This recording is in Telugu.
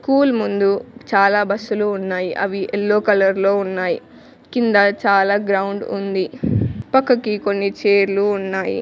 స్కూల్ ముందు చాలా బస్సులు ఉన్నాయి అవి ఎల్లో కలర్ లో ఉన్నాయి కింద చాలా గ్రౌండ్ ఉంది పక్కకి కొన్ని చేర్లు ఉన్నాయి.